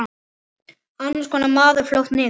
Annars koðnar maður fljótt niður.